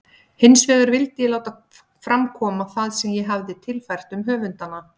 Hinsvegar vildi ég láta fram koma það sem ég hefi tilfært um höfundana.